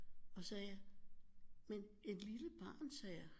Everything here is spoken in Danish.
Og sagde jeg men et lille barn sagde jeg